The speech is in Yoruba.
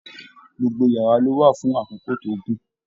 Gbogbo yàrá lo wà fún àkókò tó gùn.